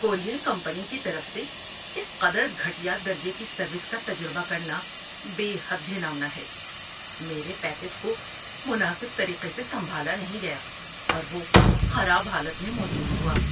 Courier company کی طرف سے اس قدر گھٹیا درجے کی سروس کا تجربہ کرنا بے حد گھناؤنا ہے۔ میرے پیکیج کو مناسب طریقے سے سنبھالا نہیں گیا اور وہ خراب حالت میں موصول ہوا۔